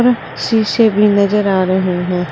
शीशे भी नजर आ रहे हैं।